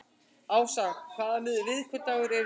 Ása, hvaða vikudagur er í dag?